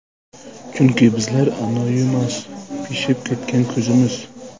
Chunki bizlar anoyimas, Pishib ketgan ko‘zimiz.